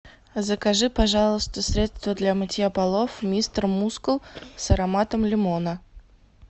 закажи пожалуйста средство для мытья полов мистер мускул с ароматом лимона